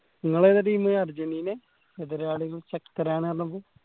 നിങ്ങൾ ഇതാ team അര്ജെന്റിനെ എതിരാളികൾ ശക്തരാണ്